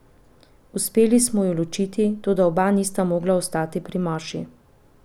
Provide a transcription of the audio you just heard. Uspeli smo ju ločiti, toda oba nista mogla ostati pri maši.